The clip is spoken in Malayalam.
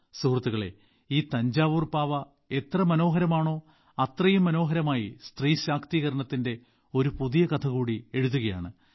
സുഹൃത്തുക്കളേ ഈ തഞ്ചാവൂർ പാവ എത്ര മനോഹരമാണോ അത്രയും മനോഹരമായി സ്ത്രീ ശാക്തീകരണത്തിന്റെ ഒരു പുതിയ കഥ കൂടി എഴുതുകയാണ്